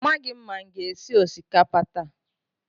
Amaghị m ma m ga-esi osikapa taa.